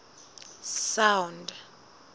sound